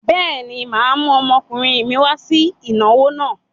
Bẹ́ẹ̀ni, mà á mú ọmọkùnrin mi wá sí ìnáwó náà.